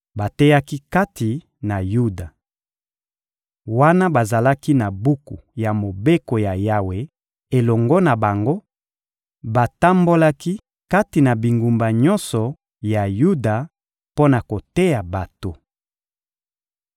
Bateyaki kati na Yuda. Wana bazalaki na buku ya Mobeko ya Yawe elongo na bango, batambolaki kati na bingumba nyonso ya Yuda mpo na koteya bato.